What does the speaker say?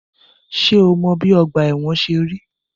Ṣé ò mọ bi ọgbà ẹ̀wọ̀n ṣe rí?